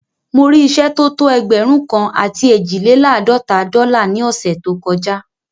Mo rí ìṣẹ́ tó tó ẹgbẹ̀rún kan àti eejilelaadọta dọ́là ní ọ̀ṣẹ̀ tó kọ já